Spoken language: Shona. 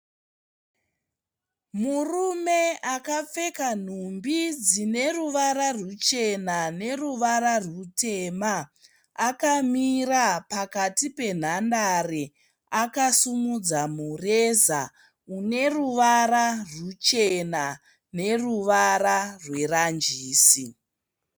Murume akapfeka nhumbi dzine ruvara rwuchena neruvara rwutema akamira pakati penhandare akasimudza mureza une ruvara rwuchena neruvara rweranjisi.